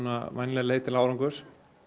vænleg leið til árangurs